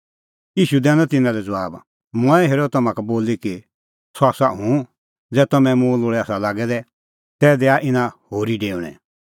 ईशू दैनअ तिन्नां लै ज़बाब मंऐं हेरअ तम्हां का बोली कि सह आसा हुंह ज़ै तम्हैं मुंह लोल़ै आसा लागै दै तै दैआ इना होरी डेऊणैं